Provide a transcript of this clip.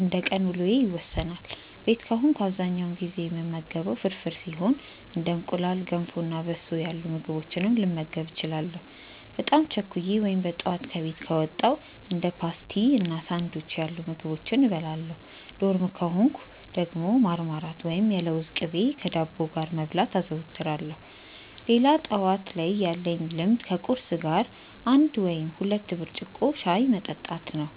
እንደቀን ውሎዬ ይወሰናል። ቤት ከሆንኩ በአብዛኛው ጊዜ የምመገበው ፍርፍር ሲሆን እንደ እንቁላል፣ ገንፎ እና በሶ ያሉ ምግቦችንም ልመገብ እችላለሁ። በጣም ቸኩዬ ወይም በጠዋት ከቤት ከወጣው እንደ ፓስቲ እና ሳንዱች ያሉ ምግቦችን እበላለሁ። ዶርም ከሆንኩ ደግሞ ማርማላት ወይም የለውዝ ቅቤ ከዳቦ ጋር መብላት አዘወትራለሁ። ሌላ ጠዋት ላይ ያለኝ ልምድ ከቁርስ ጋር አንድ ወይም ሁለት ብርጭቆ ሻይ መጠጣት ነው።